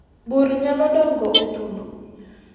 bur nyalo dongo e thuno